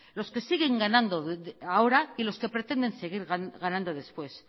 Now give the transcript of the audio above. los que siguen ganando ahora y los que pretenden seguir ganando después